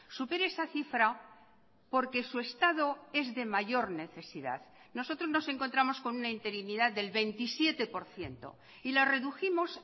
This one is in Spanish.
supere esa cifra porque su estado es de mayor necesidad nosotros nos encontramos con una interinidad del veintisiete por ciento y la redujimos